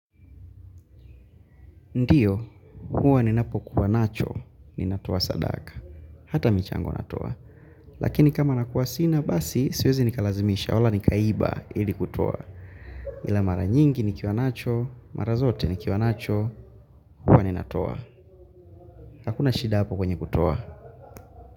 Ndiyo, huwa ninapokuwa nacho, ninatoa sadaka, hata michango natoa, lakini kama nakuwa sina basi, siwezi nikalazimisha wala nikaiba ili kutoa, ila mara nyingi nikiwa nacho mara zote nikiwa nacho huwa ninatoa hakuna shida hapo kwenye kutoa.